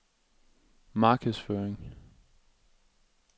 markedsføring